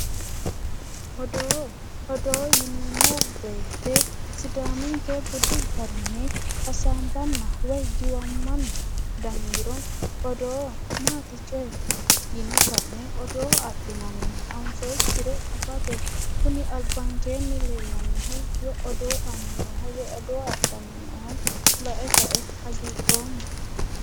Odoo, odoo yineemmo woyte sidaaminke budi garinni hasaambanna woyi giwammanna dangiro odoo maati cooyi yine ka'ne odoo adhinanni anfoyikkire afate kuni albaankenni noohu odoo adhanna lae kae hagiidhoomma.